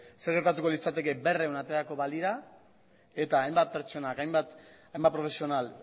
zer gertatuko litzateke berrehun aterako balira eta hainbat pertsonak hainbat profesional